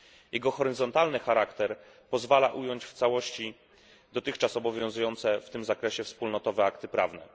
Jego horyzontalny charakter pozwala ująć w całości dotychczas obowiązujące w tym zakresie wspólnotowe akty prawne.